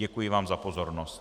Děkuji vám za pozornost.